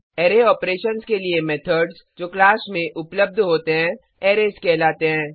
httpspoken tutorialorg array operations के लिए methods class में उपलब्ध होते हैं अरेज कहलाते हैं